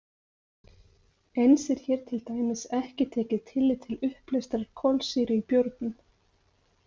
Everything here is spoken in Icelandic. Eins er hér til dæmis ekki tekið tillit til uppleystrar kolsýru í bjórnum.